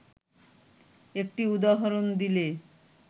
একটি উদাহরণ দিলে